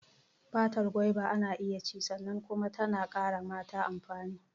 Fatar goba ana iya ci sannan kuma tana ƙara mata amfani.